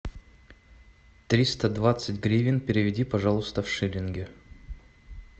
триста двадцать гривен переведи пожалуйста в шиллинги